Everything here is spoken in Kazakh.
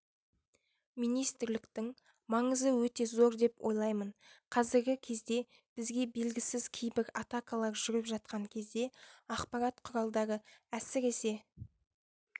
министрліктің маңызы өте зор деп ойлаймын қазіргі кездебізге белгісіз кейбір атакалар жүріп жатқан кездеақпарат құралдары әсіресе